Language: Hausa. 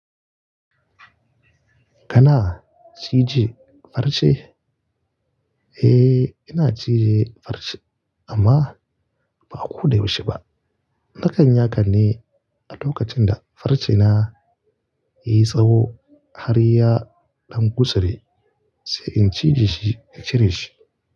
Kana cije farce? Eh, ina cije farce amma ba ko da yaushe ba. Nakan yi hakan ne a lokacin da farce na ya yi tsawo har ya ɗan gutsure sai in cije shi in cire shi.